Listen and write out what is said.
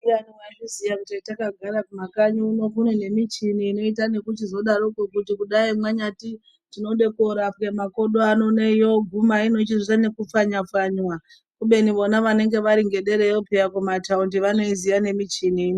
Ndiyani waizviziya kuti takagara kumakanyi uno kunenemichini inoita nekuchizodaroko kuti kudai mwanyati tinode korapwe makodo yoguma inochizoita nekupfanywa pfanywa kubeni vona vanenge vari ngedera yo peya kuma taundi vanoiziya nemichini